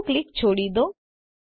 ડાબું ક્લિક છોડી દો